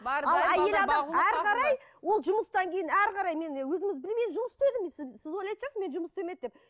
әрі қарай ол жұмыстан кейін әрі қарай мен өзіңіз жұмыс істедім сіз ойлайтын шығарсыз мен жұмыс істемеді деп